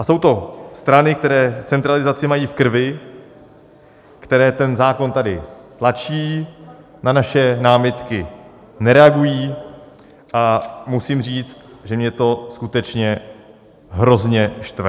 A jsou to strany, které centralizaci mají v krvi, které ten zákon tady tlačí, na naše námitky nereagují, a musím, říct, že mě to skutečně hrozně štve.